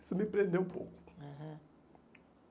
Isso me prendeu um pouco. Aham